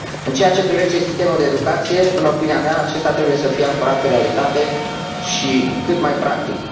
În ceea ce privește sistemul de educație, în opinia mea, acesta trebuie să fie ancorat în realitate și cât mai practic.